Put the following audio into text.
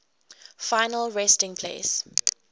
final resting place